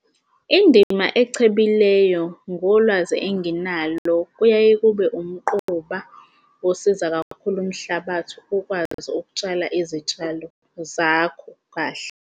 Indima echebileyo ngolwazi enginalo kuyaye kube umquba osiza kakhulu umhlabathi ukwazi ukutshala izitshalo zakho kahle.